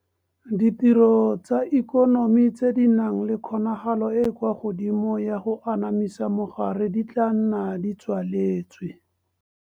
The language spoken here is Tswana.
Ditiro tsa ikonomi tse di nang le kgonagalo e e kwa godimo ya go anamisa mogare di tla nna di tswaletswe.